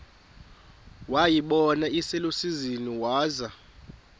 wayibona iselusizini waza